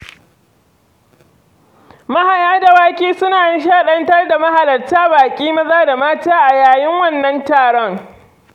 Mahaya dawaki suna nishaɗantar da mahalarta, baƙi maza da mata a yayin wannan taro.